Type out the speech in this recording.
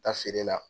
Taa feere la